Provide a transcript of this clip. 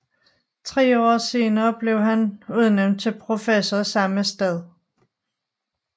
Tre år senere blev han udnævnt til professor samme sted